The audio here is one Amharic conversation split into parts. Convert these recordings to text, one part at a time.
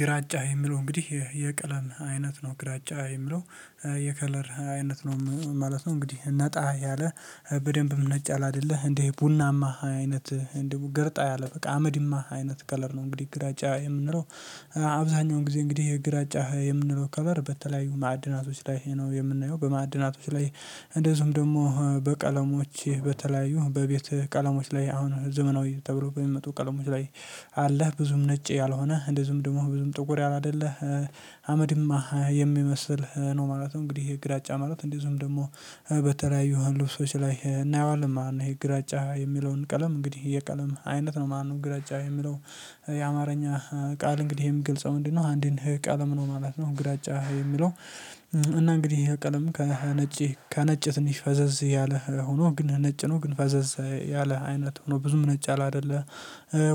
ግራጫ የሚለው እንግዲህ የቀለም አይነት ነው ግራጫ የሚለው የከለር አይነት ነው ማለት ነው እንግዲህ ነጣ ያለ በደንብ መነጫል አይደለህ እንዴ ቡናማ አይነት ገርጣ ያለ በቃ አመድማ አይነት ከለር ነው እንግዲህ ግራጫ የምንለው አብዛኛውን ጊዜ እንግዲህ የግራጫ የምንለው ከቨር በተለያዩ ማዕድናቶች ላይ ነው የምናየው በማዕድናቶች ላይ እንደዚሁም ደግሞ በቀለሞች በተለያዩ በቤት ቀለሞች ላይ አሁን ዘመናዊ ተብሎ በሚመጡ ቀለሞች ላይ አለህ ብዙም ነጭ ያልሆነ እንደዚሁም ደግሞ ብዙም ጥቁር ያላደለ አመድማ የሚመስል ነው ማለት ነው። እንግዲህ ይህ ግዳጫ ማለት እንደዚሁም ደግሞ በተለያዩ ልብሶች ላይ እናየዋለን ማለት ነው ይሄ ግራጫ የሚለውን ቀለም እንግዲህ የቀለም አይነት ነው ማንም ግራጫ የሚለው የአማርኛ ቃል እንግዲህ ይሄም የሚገልጸው ምንድነው አንድን ቀለም ነው ማለት ነው። ግራጫ የሚለው እና እንግዲህ ቀለም ከነጭ ከነጭ ትንሽ ፈዘዝ ያለ ሆኖ ግን ነጭ ነው ግን ፈዘዘ ያለ አይነት ሆኖ ብዙም ነጭ ያላደለ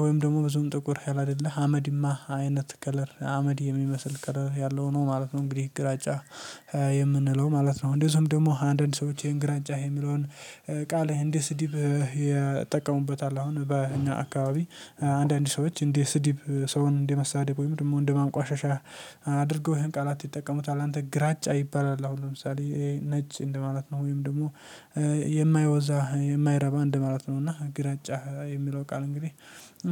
ወይም ደግሞ ብዙም ጥቁር ያለ አደለ አመዲማ አይነት ከለር አመድ የሚመስል ከለር ያለው ነው ማለት ነው እንግዲህ ግራጫ የምንለው ማለት ነው እንደዚሁም ደግሞ አንዳንድ ሰዎች ይሄን ግራንጫ የሚለውን ቃል እንደ ስድብ ይጠቀሙበታል አሁን በእኛ አካባቢ አንዳንድ ሰዎች እንደ ስድብ ሰውን እንደ መሳደብ ወይም ደግሞ እንደ ማንቋሸሻ አድርገው ይሄን ቃላት ይጠቀሙታል አንተ ግራጫ ይባላል አሁን ለምሳሌ ነጭ እንደ ማለት ነው ወይም ደግሞ የማያወዛ የማይረባ እንደማለት ነውና ግራጫ የሚለው ቃል እንግዲህ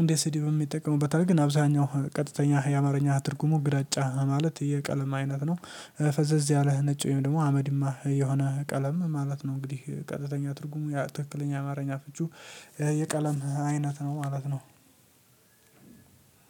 እንደ ስድብም ይጠቀሙበታል ግን አብዛኛው ቀጥተኛ የአማርኛ አትርጉሙ ግራጫ ማለት የቀለም አይነት ነው። ፈዘዝ ያለህ ነጭ ወይም ደግሞ አመድ የሆነ ቀለም ማለት ነው እንግዲህ ቀጥተኛ ትርጉሙ ትክክለኛ አማርኛ ፍቺው የቀለም አይነት ነው ማለት ነው።